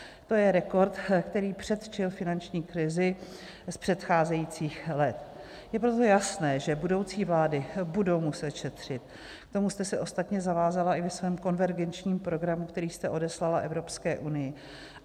To je rekord, který předčil finanční krizi z předcházejících let, je proto jasné, že budoucí vlády budou muset šetřit, k tomu jste se ostatně zavázala i ve svém Konvergenčním programu, který jste odeslala Evropské unii.